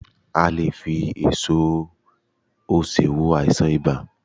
A lè e fi èso osè wo àìsàn ibà